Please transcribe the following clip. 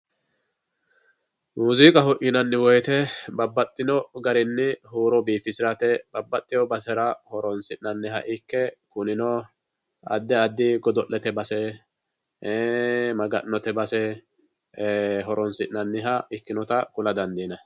Muziiqaho yinanni woyte babbaxxino garini huuro biifisirate babbaxxewo basera horonsi'naniha ikke kunino addi addi godo'lete base ii'i Maganote base horonisi'nanniha ikkinotta ku'la dandiinanni.